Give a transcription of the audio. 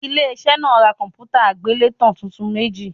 Ilé iṣẹ́ náà ra kọ̀m̀pútà àgbélétan tuntun méjì.